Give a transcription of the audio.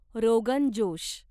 rogan josh